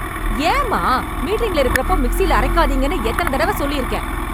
ஏன், மா? மீட்டிங்ல இருக்றப்போ, மிக்ஸியில் அரைக்காதீங்கன்னு எத்தன தடவ சொல்லிருக்கேன்!